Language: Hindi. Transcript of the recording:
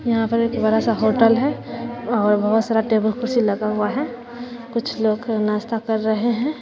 यहां पर एक बड़ा सा होटल है और बहुत सारा टेबल कुर्सी लगा हुआ है कुछ लोग नाश्ता कर रहे हैं।